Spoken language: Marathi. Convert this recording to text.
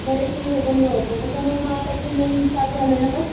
बरेचसे हे बंद होतं त्याच्यामुळं नवीन चालू झालं ना